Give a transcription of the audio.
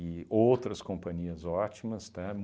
outras companhias ótimas, tá?